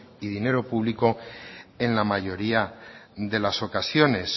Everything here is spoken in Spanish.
y dinero público en la mayoría de las ocasiones